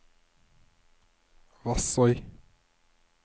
Vassøy